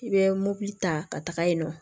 I bɛ mobili ta ka taga yen nɔ